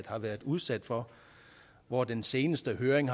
har været udsat for hvor den seneste høring